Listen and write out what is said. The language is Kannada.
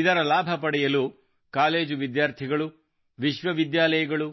ಇದರ ಲಾಭ ಪಡೆಯಲು ಕಾಲೇಜು ವಿದ್ಯಾರ್ಥಿಗಳು ವಿಶ್ವವಿದ್ಯಾಲಯಗಳು